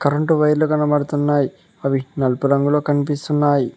Current వైర్లు కనబడుతున్నాయ్ అవి నలుపు రంగులో కనిపిస్తున్నాయ్.